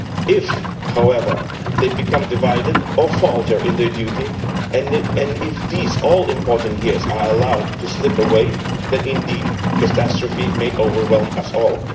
If however they become divided or falter in their duty and if these all important years are allowed to slip away, then indeed catastrophe may overwhelm us all'.